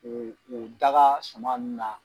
Ee daga suma ninnu na